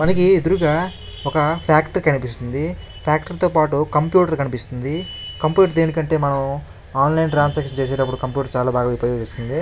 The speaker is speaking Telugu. మనకి ఎదురుగ ఒక ఫ్యాక్టరీ కనిపిస్తుంది. ఫ్యాక్టరీ తో పాటు కంప్యూటర్ కనిపిస్తుంది. కంప్యూటర్ దేనికి అంటే మనం ఆన్లైన్ త్రన్సాక్షన్ చేసేటప్పుడు కంప్యూటర్ చాలా బాగా ఉపయోగిస్తుంది.